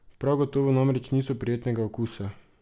Prav gotovo namreč niso prijetnega okusa.